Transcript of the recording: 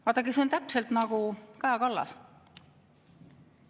" Vaadake, see on täpselt nagu Kaja Kallas.